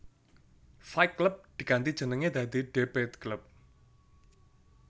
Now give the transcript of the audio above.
Fight Club diganti jenenge dadi Debate Club